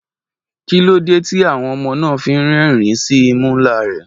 Kí ló dé tí àwọn ọmọ náà fi ń rẹ́rìn-ín sí imú ńlá rẹ̀?